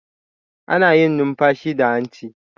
Ana yin numfashi da hanci.